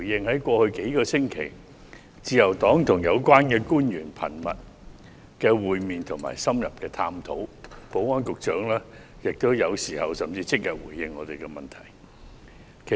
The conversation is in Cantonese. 在過去數星期，自由黨一直與有關官員頻密會面及深入探討，保安局局長有時候甚至即日便回應我們的問題。